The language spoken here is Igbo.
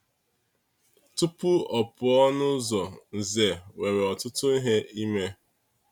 Tupu ọ pụọ n’ụzọ, Nze nwere ọtụtụ ihe ime.